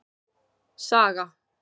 Saga